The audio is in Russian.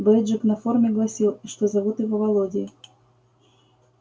бейджик на форме гласил что зовут его володей